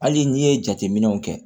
Hali n'i ye jateminɛw kɛ